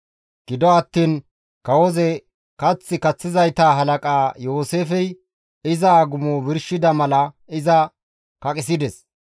Gido attiin kawozi kath kaththizayta halaqaa Yooseefey iza agumo birshida mala iza kaqisides.